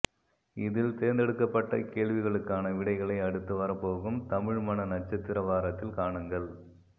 இதில் தேர்ந்தெடுக்கப்பட்ட கேள்விகளுக்கான விடைகளை அடுத்து வரப்போகும் தமிழ்மணநட்சத்திர வாரத்தில் காணுங்கள்